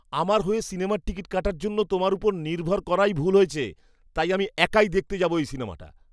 আমার হয়ো সিনেমার টিকিট কাটার জন্য তোমার ওপর নির্ভর করাই ভুল হয়েছে, তাই আমি একাই দেখতে যাবো এই সিনেমাটা।